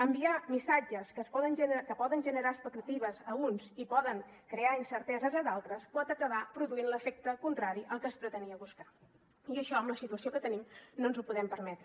enviar missatges que poden generar expectatives a uns i poden crear incerteses a d’altres pot acabar produint l’efecte contrari al que es pretenia buscar i això amb la situació que tenim no ens ho podem permetre